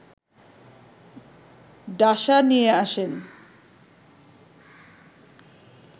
ডাসা নিয়ে আসেন